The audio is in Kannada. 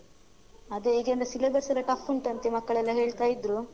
ಅದೇ ಈಗೆಲ್ಲ syllabus ಎಲ್ಲ tough ಉಂಟಂತೆ ಮಕ್ಕಳೆಲ್ಲ ಹೇಳ್ತಾ ಇದ್ರು.